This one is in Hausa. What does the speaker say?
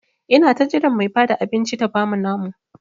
Ina ta jiran Mai Bada abinci ta bamu namu.